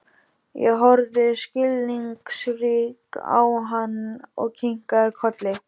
Ég horfði skilningsrík á hann og kinkaði kolli.